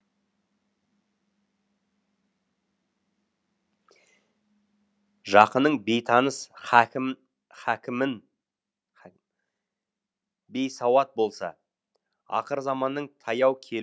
жақының бейтаныс хакімің бейсауат болса ақырзаманның таяу кел